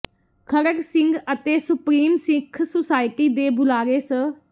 ਖੜਗ ਸਿੰਘ ਅਤੇ supreme Sikh society ਦੇ ਬੁਲਾਰੇ ਸ